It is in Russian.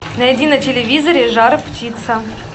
найди на телевизоре жар птица